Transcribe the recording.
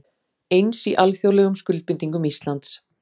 Eins í alþjóðlegum skuldbindingum Íslands